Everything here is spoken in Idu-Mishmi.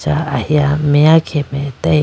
ahiya meya khe mai atage.